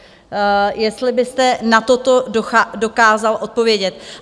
Jestli byste na toto dokázal odpovědět.